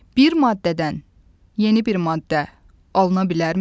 Bir maddədən yeni bir maddə alına bilərmi?